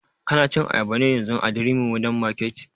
Ka na cin ayaba ne yanzun a durumi modern market?